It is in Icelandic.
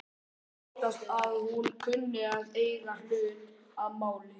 Ég óttast að hún kunni að eiga hlut að máli.